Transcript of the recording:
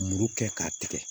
Muru kɛ k'a tigɛ